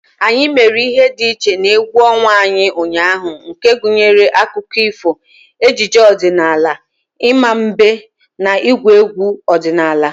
Anyị mere ihe dị iche n'egwu ọnwa anyị ụnyaahụ nke gụnyere akụkọ ifo, ejije ọdịnala, ịma mbem, na ịgwu egwu ọdinala.